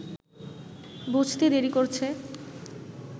বুঝতে দেরি করছে